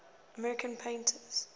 american painters